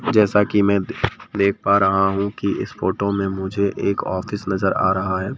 जैसा कि मैं देख पा रहा हूँ कि इस फोटो में मुझे एक ऑफिस नजर आ रहा है।